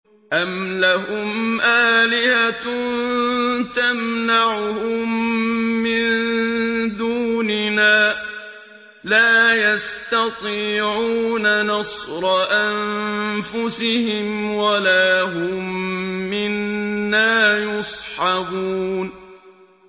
أَمْ لَهُمْ آلِهَةٌ تَمْنَعُهُم مِّن دُونِنَا ۚ لَا يَسْتَطِيعُونَ نَصْرَ أَنفُسِهِمْ وَلَا هُم مِّنَّا يُصْحَبُونَ